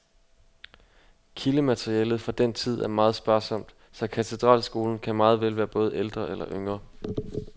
Kildematerialet fra den tid er meget sparsomt, så katedralskolen kan meget vel være både ældre eller yngre.